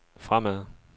fremad